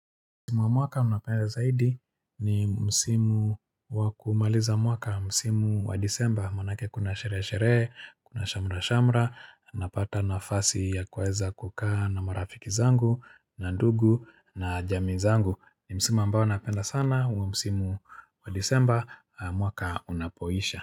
Mwaka mi napenda zaidi ni msimu wa kumaliza mwaka msimu wa disemba manake kuna sherehe sherehe kuna shamra shamra napata nafasi ya kuweza kukaa na marafiki zangu na ndugu na jamii zangu ni msimu ambao napenda sana mwaka unapoisha.